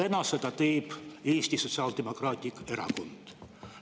Nüüd teeb seda Eesti Sotsiaaldemokraatlik Erakond.